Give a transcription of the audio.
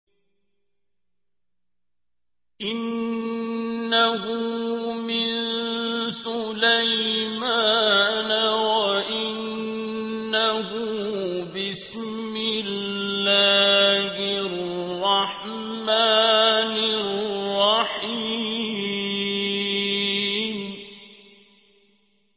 إِنَّهُ مِن سُلَيْمَانَ وَإِنَّهُ بِسْمِ اللَّهِ الرَّحْمَٰنِ الرَّحِيمِ